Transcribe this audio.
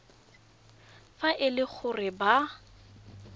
fa e le gore ba